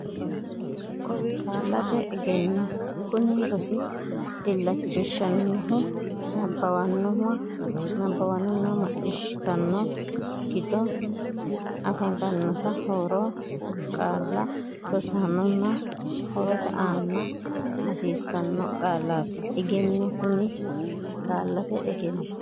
Qaallate Egenno Kuni rosi illachishannohu nabbabbannonna macciishshitanno giddo afantannota haaro qaalla rossannonna horote aana hosiissanno Qaallate Egenno Kuni Qaallate Egenno.